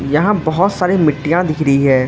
यहां बहोत सारी मिट्टियां दिख रही है।